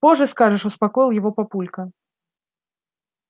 позже скажешь успокоил его папулька